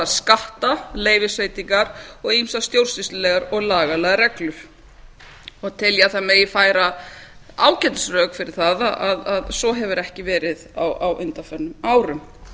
skattar leyfisveitingar og ýmsar stjórnsýslulegar eða lagalegar reglur tel ég að megi færa ágætisrök fyrir því að svo hefur ekki verið á undanförnum árum